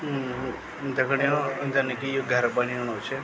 दगड़ियों जन की यो घर बणेणु च।